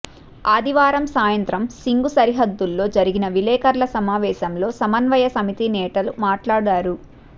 ఆదివారం సాయంత్రం సింఘు సరిహద్దులో జరిగిన విలేకర్ల సమావేశంలో సమన్వయ సమితి నేతలు మాట్లాడారు